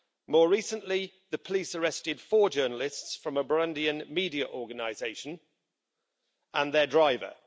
More recently, the police arrested four journalists from a Burundian media organisation and their driver.